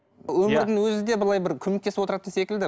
өмірдің өзі де былай бір көмектесіп отыратын секілді